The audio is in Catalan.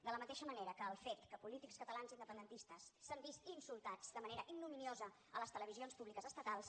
de la mateixa manera que el fet que polítics catalans independentistes s’han vist insultats de manera ignominiosa a les televisions públiques estatals